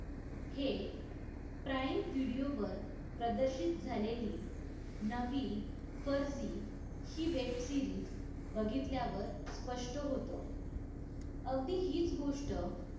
हे prime video वर प्रदर्शित झालेली नवी फर्जी हे web series बघितल्यावर स्पष्ट होतं. अगदी हीच गोष्ट